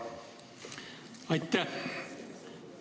Aitäh!